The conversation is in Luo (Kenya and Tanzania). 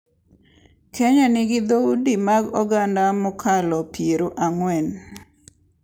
Kenya nigi dhoudi mag oganda mokalo piero ang'wen,